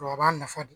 O a b'a nafa de